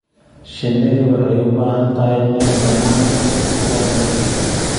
Shinnidu waxay u baahan tahay meel bannaan oo ku filan rugta.